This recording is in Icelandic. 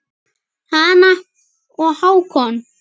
Hanna og Hákon.